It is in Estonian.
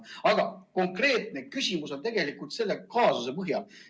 Aga konkreetne küsimus on tegelikult selle kaasuse põhjal.